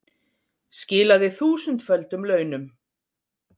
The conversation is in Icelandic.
Skilaði þúsundföldum launum